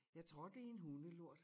Jeg trådte i en hundelort